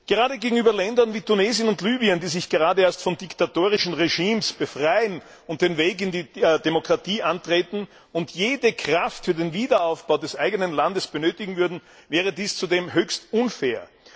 Gerade gegenüber Ländern wie Tunesien und Libyen, die sich gerade erst von diktatorischen Regimes befreien und den Weg in die Demokratie antreten und jede Kraft für den Wiederaufbau des eigenen Landes benötigen würden, wäre dies zudem höchst unfair.